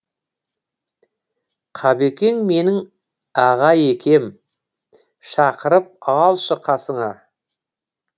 қабекең менің аға екем шақырып алшы қасыңа